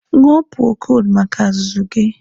Ñụọ purokoldu maka azụzụ gị